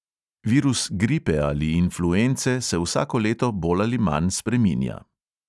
Virus gripe ali influence se vsako leto bolj ali manj spreminja.